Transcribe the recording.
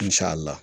Misali la